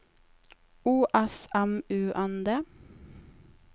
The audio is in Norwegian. O S M U N D